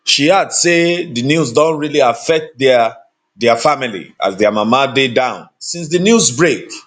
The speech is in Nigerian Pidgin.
she add say di news don really affect dia dia family as dia mama dey down since di news break